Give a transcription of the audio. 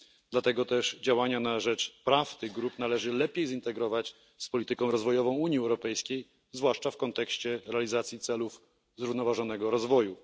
Dlatego też działania na rzecz praw tych grup należy lepiej zintegrować z polityką rozwojową Unii Europejskiej, zwłaszcza w kontekście realizacji celów zrównoważonego rozwoju.